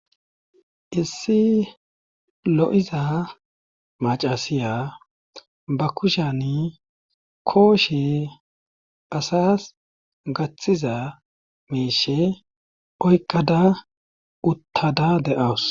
Issi lo7iza macasiya ba kushan kooshe asas gaththiza meeshe oykqada uttada deawus